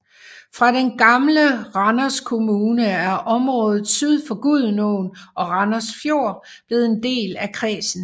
Fra den gamle Randers Kommune er området syd for Gudenåen og Randers Fjord blevet en del af kredsen